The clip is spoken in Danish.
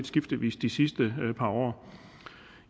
skiftevis de sidste par år